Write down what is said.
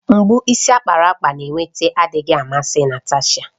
Mgbu isi ákpáraàkpà na-eweta adịghị amasị Natasha.